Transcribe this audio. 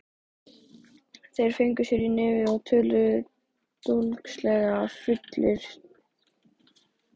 Þeir fengu sér í nefið og töluðu dólgslega, fullir drýldni.